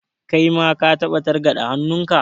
Kai ma ka taɓa targaɗe hannunka?